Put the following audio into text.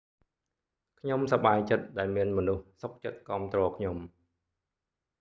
ខ្ញុំសប្បាយចិត្តដែលមានមនុស្សសុខចិត្តគាំទ្រខ្ញុំ